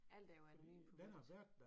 Alt er jo anonymt på reddit